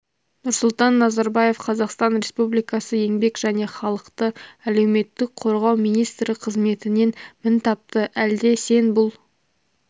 нұрсұлтан назарбаев қазақстан республикасы еңбек және халықты әлеуметтік қорғау министрі қызметінен мін тапты әлде сен бұл